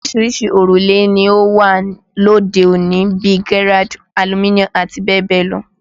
Oríṣiríṣi òrùlé ni ó wà lóde òní bíi Gerrard, Aluminum àti bẹ́ẹ̀ bẹ́ẹ̀ lọ